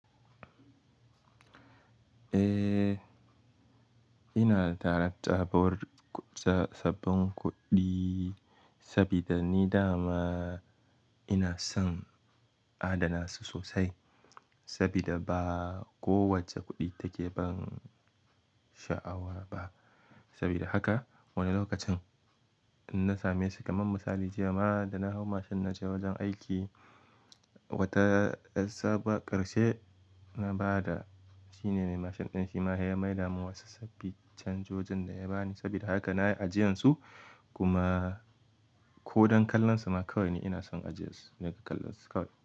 Eh, ina takarar sabbin kuɗi sabida ni da ma ina son adana su sosai sabida ba kowacce kuɗi take ban sha'awa ba. Sabida haka wani lokacin in na same su, kamar misali, jiya ma da na hau mashin na je wajen aiki, wata sabuwar ƙarshe na ba da shine mai mashin ɗin shi ma sai ya mai damin wasu sabbin canjojin da ya bani. Sabida haka na yi ajiyarsu kuma ko dan kallon su ma kawai ne ina son ajiyarsu, ina kallon su kawai.